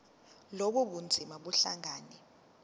lobu bunzima buhlangane